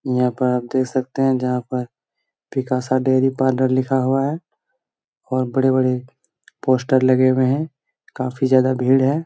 यहाँ पर आप देख सकते है जहाँ पर पिकासा डेरी पार्लर लिखा हुआ है और बड़े-बड़े पोस्टर लगे हुए है काफी ज़्यादा भीड़ है ।